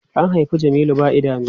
An haifi Jamilu ba idanu.